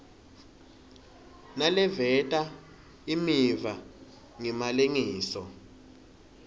naleveta imiva ngemalengiso